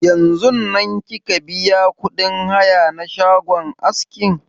Yanzun nan kika biya kuɗin haya na shagon askin?